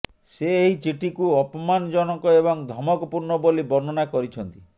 ସେ ଏହି ଚିଠିକୁ ଅପମାନଜନକ ଏବଂ ଧମକପୂର୍ଣ୍ଣ ବୋଲି ବର୍ଣ୍ଣନା କରିଛନ୍ତି